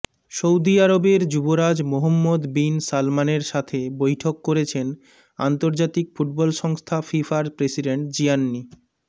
সউদি আরবের যুবরাজ Mohammed bin সালমানের সাথে বৈঠক করেছেন আন্তর্জাতিক ফুটবল সংস্থা ফিফার প্রেসিডেন্ট জিয়ান্নি